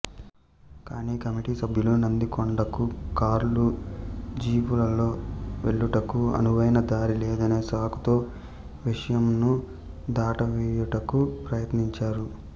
కానీ కమిటీ సభ్యులు నందికొండకు కార్లు జీపులలో వెళ్ళుటకు అనువైన దారి లేదనే సాకుతో విషయంను దాటవేయుటకు ప్రయత్నించారు